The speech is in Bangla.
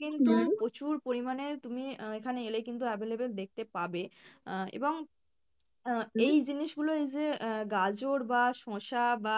কিন্তু প্রচুর পরিমাণে তুমি আহ এখানে এলে কিন্তু available দেখতে পাবে আহ এবং আহ এই জিনিস গুলোই এই যে আহ গাজর বা শসা বা